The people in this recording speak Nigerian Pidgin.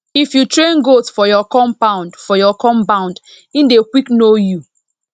if you train goat for your compound for your compound e dey quick know you